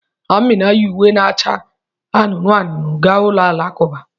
Amina yi uwe na-acha anụnụ anụnụ gaa ụlọ alakụba